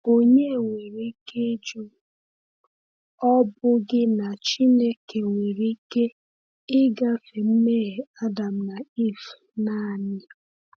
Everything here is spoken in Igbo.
Onye nwere ike ịjụ, ‘Ọ̀ bụghị na Chineke nwere ike ịgafe mmehie Adam na Ivụ naanị?’